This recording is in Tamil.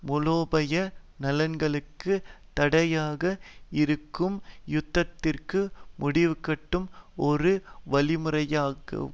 மூலோபாய நலன்களுக்கு தடையாக இருக்கும் யுத்தத்திற்கு முடிவுகட்டும் ஒரு வழிமுறையாகவேயாகும்